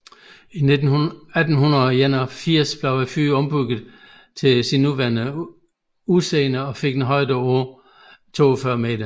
I 1881 blev fyret ombygget til sit nuværende udseende og fik en højde på 42 meter